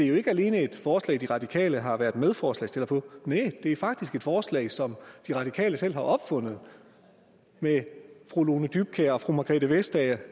jo ikke alene et forslag de radikale har været medforslagsstillere på næh det er faktisk et forslag som de radikale selv har opfundet ved fru lone dybkjær og fru margrethe vestager